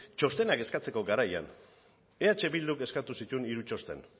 txostenak eskatzeko garaian eh bilduk eskatu zituen hiru txosten